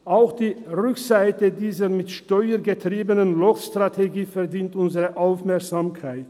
Auch die Rückseite dieser mit Steuern getriebenen Lockstrategie verdient unsere Aufmerksamkeit.